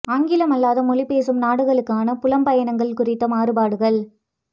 ஆங்கிலம் அல்லாத மொழி பேசும் நாடுகளுக்கான புலம் பயணங்கள் குறித்த மாறுபாடுகள்